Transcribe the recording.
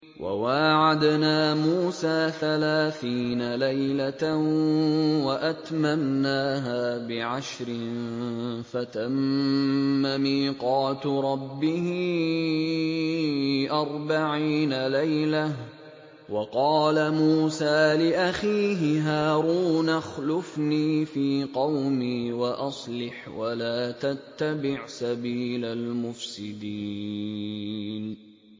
۞ وَوَاعَدْنَا مُوسَىٰ ثَلَاثِينَ لَيْلَةً وَأَتْمَمْنَاهَا بِعَشْرٍ فَتَمَّ مِيقَاتُ رَبِّهِ أَرْبَعِينَ لَيْلَةً ۚ وَقَالَ مُوسَىٰ لِأَخِيهِ هَارُونَ اخْلُفْنِي فِي قَوْمِي وَأَصْلِحْ وَلَا تَتَّبِعْ سَبِيلَ الْمُفْسِدِينَ